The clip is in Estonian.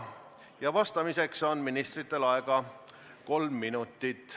– ja vastamiseks on ministritel aega kolm minutit.